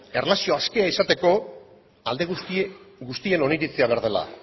erlazioaskea izateko alde guztien oniritzia behar dela